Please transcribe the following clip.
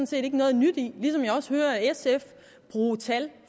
set ikke noget nyt i ligesom jeg også hører sf bruge tal